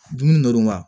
Dumuni ndon wa